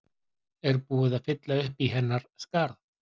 Er búið að fylla uppí hennar skarð?